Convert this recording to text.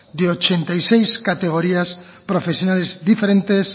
de ochenta y seis categorías profesionales diferentes